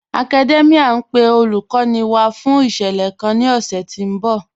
Academia n pe olúkòní wá fún ìṣẹlẹ̀ kàn ni ọ̀ṣẹ̀ tí n bọ̀